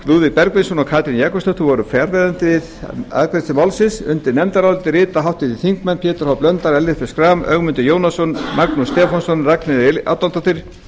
lúðvík bergvinsson og katrín jakobsdóttir voru fjarverandi við afgreiðslu málsins undir nefndarálitið rita háttvirtir þingmenn pétur h blöndal ellert b schram ögmundur jónasson magnús stefánsson ragnheiður e árnadóttir